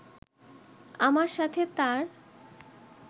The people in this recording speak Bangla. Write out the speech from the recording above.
আমার সাথে তার